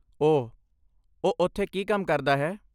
ਓਹ, ਉਹ ਉੱਥੇ ਕੀ ਕੰਮ ਕਰਦਾ ਹੈ?